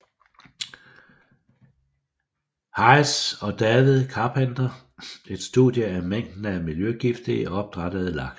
Hites og David Carpenter et studie af mængden af miljøgifte i opdrættede laks